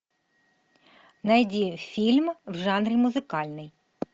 найди фильм в жанре музыкальный